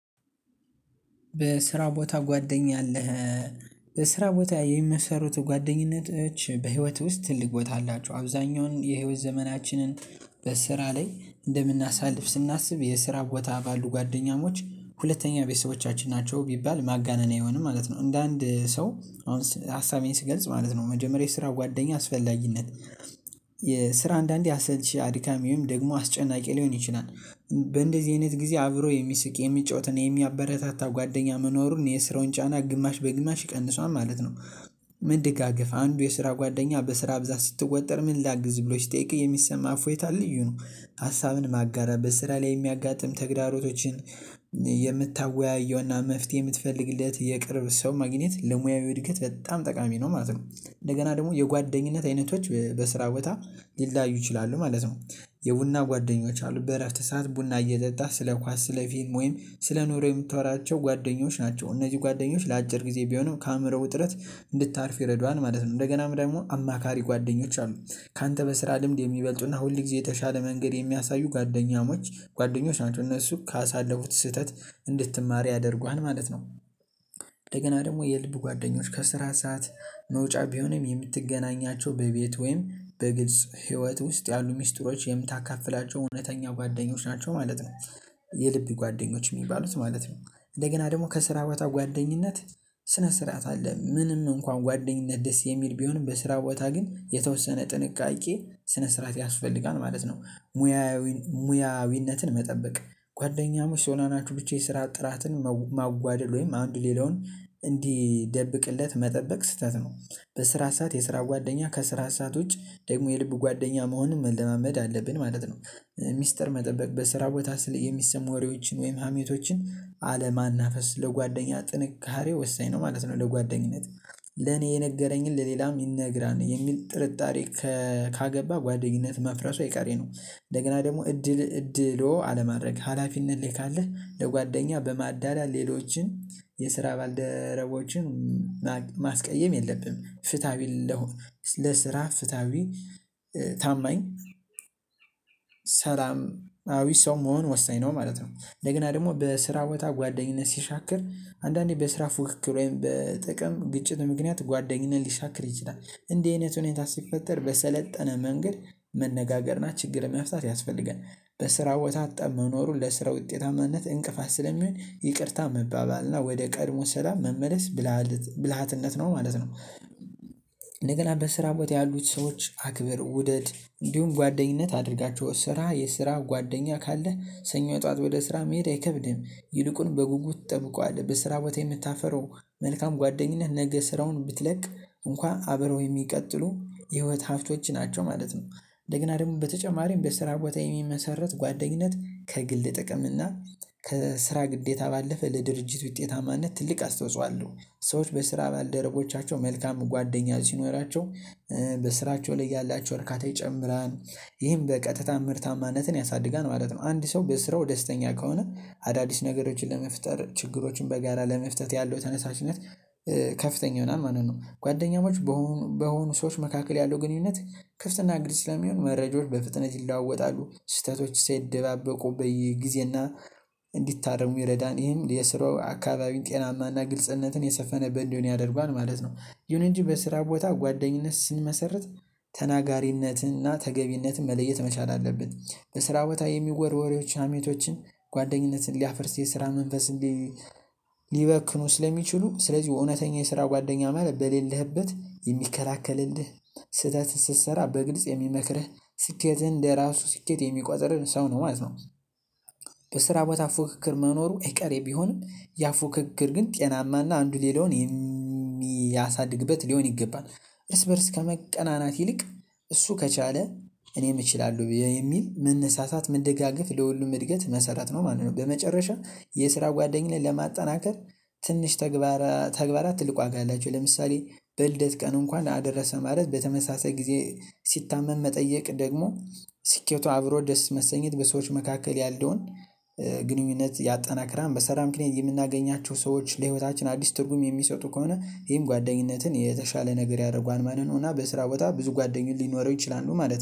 በስራ ቦታ ጓደኛ አለህ? በስራ ቦታ የሚመሰረቱ ጓደኝነቶች በህይወትህ ውስጥ ትልቅ ቦታ አላቸው። አብዛኛውን የህይወት ዘመናችንን በስራ ላይ እንደምናሳልፍ ስናስብ የስራ ቦታ ባሉ ጓደኛሞች ሁለተኛ ቤተሰቦቻችን ናቸው ቢባል ማጋነን አይሆንም ማለት ነው። እንደ አንድ ሰው አሁን ሀሳቤን ስገልጽ ማለት ነው መጀመሪያ የስራ ጓደኛ አስፈላጊነት። የስራ አንዳንዴ አሰልቺ አድካሚም ደግሞ አስጨናቂ ሊሆን ይችላል። በእንደዚህ አይነት ጊዜ አብሮ የሚስቅ የሚጫወት እና የሚያበረታታ ጓደኛ መኖሩን የስራውን ጫና ግማሽ በግማሽ ይቀንሷል ማለት ነው። መደጋግፍ አንዱ የስራ ጓደኛ በስራ ብዛት ስትወጠር ምን ላግዝ ብሎ ሲጠይቅ የሚሰማ እፎይታ ልዩ ነው። ሀሳብን ማጋራት በስራ ላይ የሚያጋጥም ተግዳሮቶችን የምታወያየውና መፍትሄ የምትፈልግለት የቅርብ ሰው ማግኘት ለሙያዊ እድገት በጣም ጠቃሚ ነው ማለት ነው። እንደገና ደግሞ የጓደኝነት አይነቶች በስራ ቦታ ሊለያዩ ይችላሉ ማለት ነው። የቡና ጓደኞች አሉ በእረፍት ሰዓት ቡና እየጠጣ ስለ ኳስ ስለ ፊልም ወይም ስለ ኑሮ የምታወራቸው ጓደኞች ናቸው እነዚህ ጓደኞች ለአጭር ጊዜ ቢሆንም ከአእምሮ ውጥረት እንድታርፍ ይረዱሀል ማለት ነው። እንደገናም ደግሞ አማካሪ ጓደኞች አሉ። ካንተ በስራ ልምድ የሚበልጡና ሁልጊዜ የተሻለ መንገድ የሚያሳዩ ጓደኛሞች ጓደኞች ናቸው እነሱ ካሳለፉት ስህተት እንድትማር ያደርጉሀል ማለት ነው። እንደገና ደግሞ የልብ ጓደኞች ከስራ ሰዓት መውጫ ቢሆንም የምትገናኛቸው በቤት ወይም በግልጽ ህይወት ውስጥ ያሉ ሚስጥሮች የምታካፍላቸው እውነተኛ ጓደኞች ናቸው ማለት ነው። የልብ ጓደኞች የሚባሉት ማለት ነው። እንደገና ደግሞ ከስራ ቦታ ጓደኝነት ስነ ስርዓት አለ ምንም እንኳን ጓደኝነት ደስ የሚል ቢሆንም በስራ ቦታ ግን የተወሰነ ጥንቃቄ ስነ ስርዓት ያስፈልጋል ማለት ነው። ሙያዊ ሙያዊነትን መጠበቅ ጓደኛሞች ስለሆናችሁ ብቻ የስራ ጥራትን ማጓደል ወይም አንዱ ሌላውን እንዲደብቅለት መጠበቅ ስህተት ነው። በስራ ሰዓት የስራ ጓደኛ ከስራ ሰዓት ውጭ ደግሞ የልብ ጓደኛ መሆንን መለማመድ አለብን ማለት ነው። ሚስጥር መጠበቅ በስራ ቦታ ስለ የሚሰሙ ወሬዎችን ወይም ሀሜቶችን አለማናፈስ ለጓደኛ ጥንካሬ ወሳኝ ነው ማለት ነው። ለጓደኝነት ለኔ የነገረኝን ለሌላም ይነግራል የሚል ጥርጣሬ ካገባ ጓደኝነት መፍረሱ አይቀሬ ነው። እንደገና ደግሞ እድል እድሎ አለማድረግ ሀላፊነት ላይ ካለህ ለጓደኛ በማዳላት ሌሎችን የስራ ባልደረቦችን ማስቀየም የለብህም ፍትሃዊ ለስራ ፍትሃዊ ታማኝ ሰላማዊ ሰው መሆን ወሳኝ ነው ማለት ነው። እንደገና ደግሞ በስራ ቦታ ጓደኝነት ሲሻክር አንዳንዴ በስራ ፉክክር ወይም በጥቅም ግጭት ምክንያት ጓደኝነት ሊሻክር ይችላል። እንዲህ አይነት ሁኔታ ሲፈጠር በሰለጠነ መንገድ መነጋገር እና ችግርን መፍታት ያስፈልጋል። በስራ ቦታ ጠብ መኖሩን ለስራ ውጤታማነት እንቅፋት ስለሚሆን ይቅርታ መባባል እና ወደ ቀድሞ ሰላም መመለስ ብልሃትነት ነው ማለት ነው። እንደገና በስራ ቦታ ያሉት ሰዎች አክብር ውደድ እንዲሁም ጓደኝነት አድርጋቸው ስራ የስራ ጓደኛ ካለ ሰኞ ጠዋት ወደ ስራ መሄድ አይከብድህም። ይልቁን በጉጉት ትጠብቀዋለህ በስራ ቦታ የምታፈረው መልካም ጓደኝነት ነገ ስራውን ብትለቅ እንኳን አብረው የሚቀጥሉ የህይወት ሀብቶች ናቸው ማለት ነው። እንደገና ደግሞ በተጨማሪም በስራ ቦታ የሚመሰረት ጓደኝነት ከግል ጥቅም እና ከስራ ግዴታ ባለፈ ለድርጅት ውጤታማነት ትልቅ አስተውጽኦ አለው። ሰዎች በስራ ባልደረቦቻቸው መልካም ጓደኛ ሲኖራቸው በስራቸው ላይ ያላቸው እርካታ ይጨምራል። ይህም በቀጥታ ምርታማነትን ያሳድጋል ማለት ነው። አንድ ሰው በስራው ደስተኛ ከሆነ አዳዲስ ነገሮችን ለመፍጠር ችግሮችን በጋራ ለመፍታት ያለው ተነሳሽነት ከፍተኛ ይሆናል ማለት ነው። ጓደኛሞች በሆኑ በሆኑ ሰዎች መካከል ያለው ግንኙነት ክፍት እና ግልጽ ስለሚሆን መረጃዎች በፍጥነት ይለዋወጣሉ ስህተቶች ሳይደባበቁ በየጊዜና እንዲታረሙ ይረዳል ይሄም የስራው አካባቢ ጤናማና ግልጽነትን የሰፈነበት እንዲሆን ያደርጓል ማለት ነው። ይሁን እንጂ በስራ ቦታ ጓደኝነት ስንመሰርት ተናጋሪነትን እና ተገቢነትን መለየት መቻል አለብን። በስራ ቦታ የሚወርወር ወሬዎችን ሀሜቶችን ጓደኝነትን ሊያፈርስ የስራ መንፈስ ሊበክኑ ስለሚችሉ ስለዚህ እውነተኛ የስራ ጓደኛ ማለት በሌለህበት የሚከላከልልህ ስህተት ስትሰራ በግልጽ የሚመክርህ ስኬትህን እንደራሱ ስኬት የሚቆጥርህ ሰው ነው ማለት ነው። በስራ ቦታ ፉክክር መኖሩ አይቀሬ ቢሆንም ያ ፉክክር ግን ጤናማና አንዱ ሌላውን የሚያሳድግበት ሊሆን ይገባል። እርስ በእርስ ከመቀናናት ይልቅ እሱ ከቻለ እኔም እችላለሁ የሚል መነሳሳት መደጋገፍ ለሁሉም እድገት መሰረት ነው ማለት ነው። በመጨረሻ የስራ ጓደኝነት ለማጠናከር ትንሽ ተግባራት ተግባራት ትልቅ ዋጋ አላቸው። ለምሳሌ በልደት ቀን እንኳን አደረሰ ማለት በተመሳሳይ ጊዜ ሲታመም መጠየቅ ደግሞ ሲኬቱ አብሮ ደስ መሰኘት በሰዎች መካከል ያለውን ግንኙነት ያጠናክራል። በሰራ ምክንያት የምናገኛቸው ሰዎች ለህይወታችን አዲስ ትርጉም የሚሰጡ ከሆነ ይሄም ጓደኝነትን የተሻለ ነገር ያረጓል ማለት ነው። እና በስራ ቦታ ብዙ ጓደኞች ሊኖረው ይችላሉ ማለት ነው